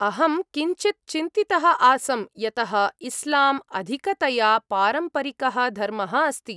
अहं किञ्चित् चिन्तितः आसं, यतः इस्लाम् अधिकतया पारम्परिकः धर्मः अस्ति।